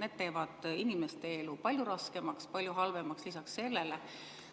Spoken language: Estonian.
Need teevad inimeste elu palju raskemaks, palju halvemaks lisaks sellele,